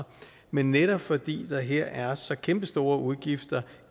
men netop fordi der her er så kæmpestore udgifter